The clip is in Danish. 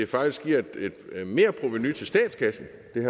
faktisk giver et merprovenu til statskassen